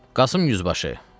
Qasım Yüzbaşı.